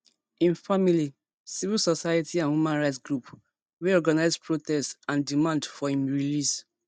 im family civil society and human rights group wey organise protests and demand for im release